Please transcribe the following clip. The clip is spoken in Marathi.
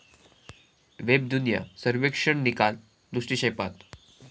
वेबदुनिया सर्वेक्षण निकाल दृष्टिक्षेपात